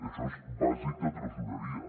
això és bàsic de tresoreria